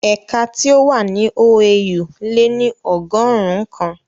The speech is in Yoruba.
Ẹ̀ka tí ó wà ní OAU le ní ọgọ́rùn ún kan